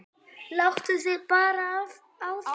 Áttaðu þig bara á því.